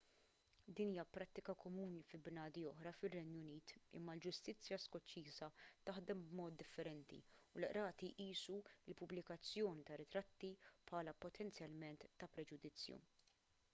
din hija prattika komuni fi bnadi oħra fir-renju unit imma l-ġustizzja skoċċiża taħdem b'mod differenti u l-qrati jqisu l-pubblikazzjoni ta' ritratti bħala potenzjalment ta' preġudizzju